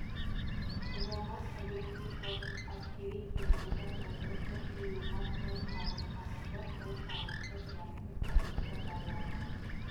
бұрынғы кадетский корпус әскери гимназия болды бір жиюға сом салық салынды бұл салықты жиятын комиссия байларға